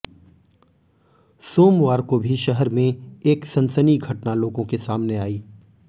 सोमवार को भी शहर में एक सनसनी घटना लोगों के सामने आई